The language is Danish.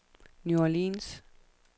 New Orleans